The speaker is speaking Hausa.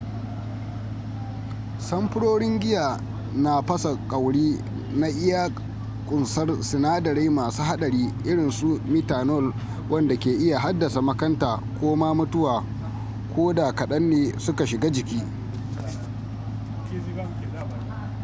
samfurorin giya na fasa kwauri na iya kunsar sinadarai masu hadari irinsu methanol wanda ke iya haddasa makanta ko ma mutuwa ko da kadan ne suka shiga jiki